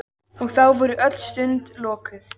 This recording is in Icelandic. Og þá voru öll sund lokuð!